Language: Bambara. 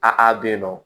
A bɛ yen nɔ